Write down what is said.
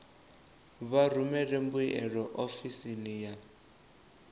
vha rumele mbuyelo ofisini ya